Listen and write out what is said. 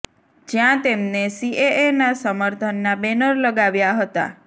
જ્યાં તેમને સીએએ ના સમર્થન ના બેનર લગાવ્યા હતા